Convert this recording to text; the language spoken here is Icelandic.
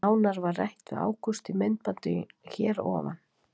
Nánar var rætt við Ágúst í myndbandinu hér að ofan.